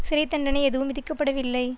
சிறை தண்டனை எதுவும் விதிக்கப்படவில்லை